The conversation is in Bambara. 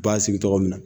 U b'a sigi tɔgɔ min na